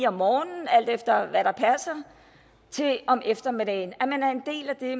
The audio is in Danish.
om morgenen alt efter hvad der passer til om eftermiddagen altså at man er en del af det